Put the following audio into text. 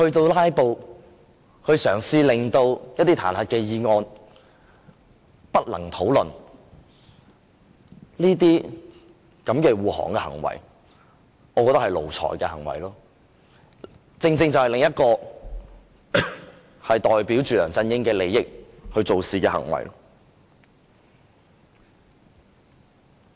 用"拉布"嘗試令彈劾議案無法討論，我覺得這種護航的行為是奴才的行為，是另一種為梁振英的利益做事的行為。